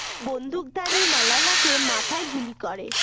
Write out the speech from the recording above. বন্দুকধারী মালালাকে মাথায় গুলি করে